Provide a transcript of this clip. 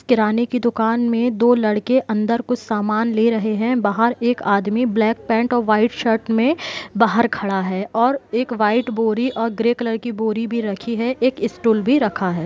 किराने की दुकान में दो लड़के अंदर कुछ सामान ले रहे हैं बाहर एक आदमी ब्लैक पेंट और वाइट शर्ट में बाहर खड़ा है एक वाइट बोरी और एक ग्रे कलर की बोरी भी रखी हुई है एक स्टूल भी रखा है।